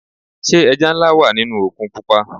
Sé ẹja nlá wà nínú òkun pupa.